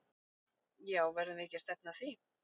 Já verðum við ekki að stefna að því?!